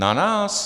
Na nás?